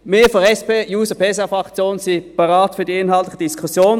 Wir von der SP-JUSO-PSA-Fraktion sind bereit für die inhaltliche Diskussion.